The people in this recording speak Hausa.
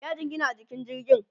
ya jingina a jikin jirgin